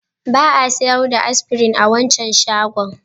Ba a sayar da Aspirin a wancan shagon.